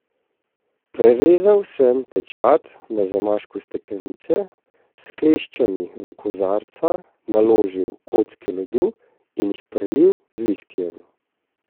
Prerezal sem pečat na zamašku steklenice, s kleščami v kozarca naložil kocke ledu in jih prelil z viskijem.